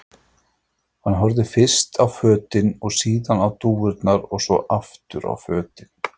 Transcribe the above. Hann horfði fyrst á fötin og síðan á dúfurnar og svo aftur á fötin.